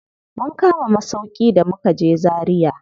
Mun kama masauƙi da mukaje Zaria.